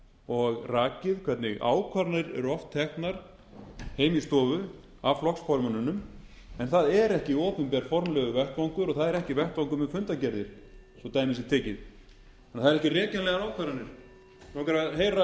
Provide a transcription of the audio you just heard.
og rakið hvernig ákvarðanir eru oft teknar heima í stofu af flokksformönnunum en það er ekki opinber formlegur vettvangur og það er ekki vettvangur með fundargerðir svo dæmi sé tekið þannig að það eru ekki rekjanlegar ákvarðanir mig langar að heyra